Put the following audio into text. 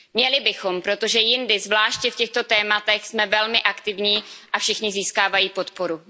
Měli bychom, protože jindy, zvláště v těchto tématech, jsme velmi aktivní a všichni získávají podporu.